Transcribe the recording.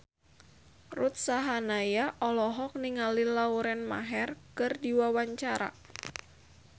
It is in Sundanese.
Ruth Sahanaya olohok ningali Lauren Maher keur diwawancara